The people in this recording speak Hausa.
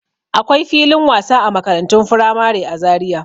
Akwai filin wasa a makarantun firamare a Zariya.